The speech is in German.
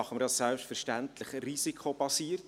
Wir tun dies selbstverständlich risikobasiert;